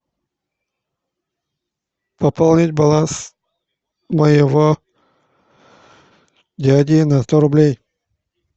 пополнить баланс моего дяди на сто рублей